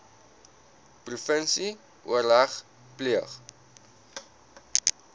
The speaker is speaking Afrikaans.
provinsie oorleg pleeg